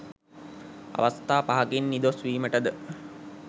අවස්ථා පහකින් නිදොස් වීමටද